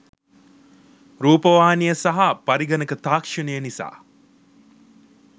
රූපවාහිනිය සහ පරිගණක තාක්ෂණය නිසා